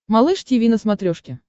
малыш тиви на смотрешке